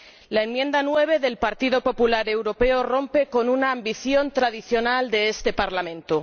La enmienda 9 del Partido Popular Europeo rompe con una ambición tradicional de este Parlamento.